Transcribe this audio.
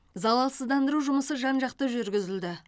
залалсыздандыру жұмысы жан жақты жүргізілді